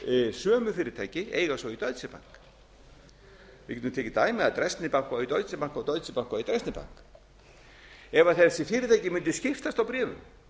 sömu fyrirtæki eiga svo í deutsche bank við getum tekið dæmi að dresdner bank á í deutsche bank og deutsche bank á í dresdner bank ef þessi fyrirtæki mundu skiptast á bréfum